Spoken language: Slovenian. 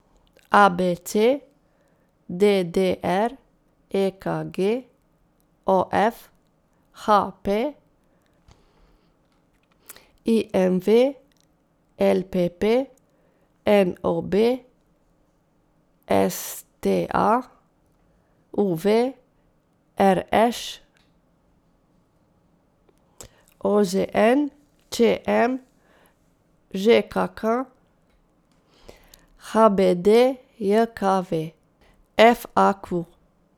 A B C; D D R; E K G; O F; H P; I M V; L P P; N O B; S T A; U V; R Š; O Z N; Č M; Ž K K; H B D J K V; F A Q.